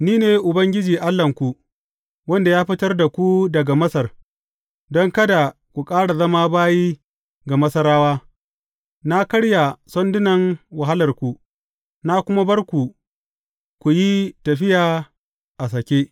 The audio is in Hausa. Ni ne Ubangiji Allahnku, wanda ya fitar da ku daga Masar don kada ku ƙara zama bayi ga Masarawa; na karya sandunan wahalarku, na kuma bar ku ku yi tafiya a sake.